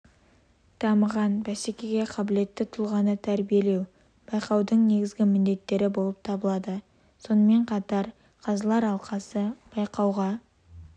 дамыған бәсекеге қабілетті тұлғаны тәрбилеу байқаудың негізгі міндеттері болып табылады сонымен қатар қазылар алқасы байқауға